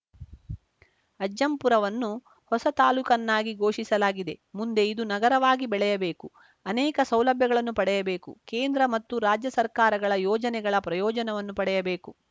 ಅಜ್ಜಂಪುರವನ್ನು ಹೊಸ ತಾಲೂಕನ್ನಾಗಿ ಘೋಷಿಸಲಾಗಿದೆ ಮುಂದೆ ಇದು ನಗರವಾಗಿ ಬೆಳೆಯಬೇಕು ಅನೇಕ ಸೌಲಭ್ಯಗಳನ್ನು ಪಡೆಯಬೇಕು ಕೇಂದ್ರ ಮತ್ತು ರಾಜ್ಯ ಸರ್ಕಾರಗಳ ಯೋಜನೆಗಳ ಪ್ರಯೋಜನವನ್ನು ಪಡೆಯಬೇಕು